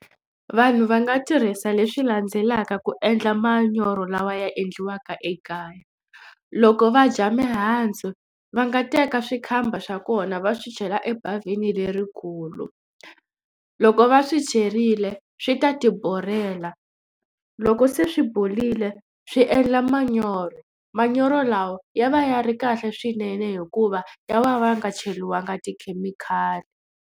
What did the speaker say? Vanhu va nga tirhisa leswi landzelaka ku endla manyoro lawa ya endliwaka ekaya loko va dya mihandzu va nga teka swikhamba swa kona va swi chela ebavhini lerikulu. Loko va swi cherile swi ta tiborela loko se swi borile swi endla manyoro manyoro lawa ya va ya ri kahle swinene hikuva ya va va nga cheriwangi tikhemikhali.